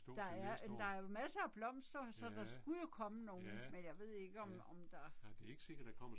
Der er jamen der jo masser af blomster, så der skulle jo komme nogen, men jeg ved ikke om om der